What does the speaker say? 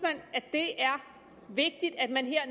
det er vigtigt at man her